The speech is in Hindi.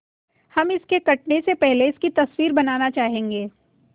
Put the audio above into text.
हम इसके कटने से पहले इसकी तस्वीर बनाना चाहेंगे